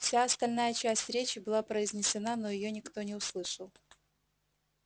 вся остальная часть речи была произнесена но её никто не услышал